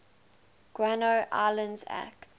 guano islands act